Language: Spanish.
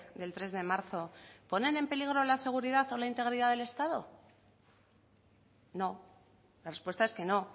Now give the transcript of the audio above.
del tres de marzo ponen en peligro la seguridad o la integridad del estado no la respuesta es que no